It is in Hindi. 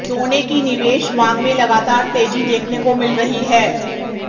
सोने की निवेश मांग में लगातार तेजी देखने को मिल रही है